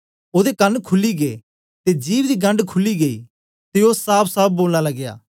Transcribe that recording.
ओदे कन खुली गै ते जिभ दी गंढ खुली गेई ते ओ साफसाफ बोलन लगया